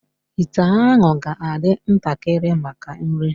íté ahụ ga-adị ntakịrị maka nri